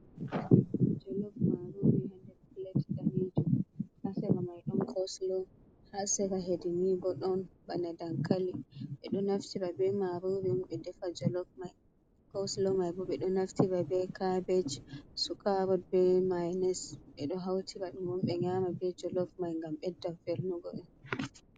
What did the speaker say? Jolov marori ha hander plat danejum ha sera mai ɗon koslo ha sera hedinii bo ɗon bana dankali ɓeɗo naftira ɓe marori ɓe defa jolof cosilo mai ɓu ɓeɗo naftira ɓe cabej su karot be mayones ɓeɗo hautira ɗum ɓe nyama be jolof mai gam ɓedda vernugo ɗum.